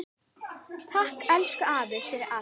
Takk, elsku afi, fyrir allt.